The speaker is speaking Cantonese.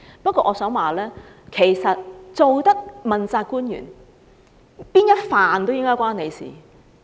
不過，我想說，其實身為問責官員，任何範疇都理應與他有關。